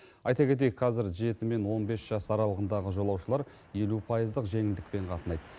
айта кетейік қазір жеті мен он бес жас аралығындағы жолаушылар елу пайыздық жеңілдікпен қатынайды